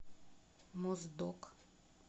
моздок